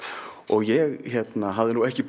ég hafði ekki